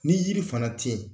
Ni yiri fana te yen